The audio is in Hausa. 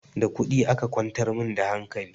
Da kuɗi aka kwantar min da hankali